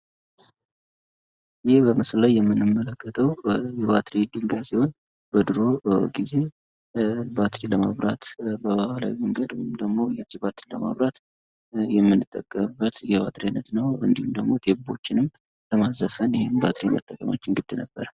ይህ በምስሉ ላይ የምንመለከተው ቫትሪ ድንጋይ ሲሆን በድሮ ጊዜ ባትሪ ለማብራት በባህላዊ መንገድ ወይም ደግሞ እያች ባትሪ ለማብራት የምንተገበት የባትሬ አይነት ነው። እንዲሁን ደግሞ ሌሎችንም ለማዘሰን ይህም ባትሪ መጠከሞች እንደ ግድ ነበር።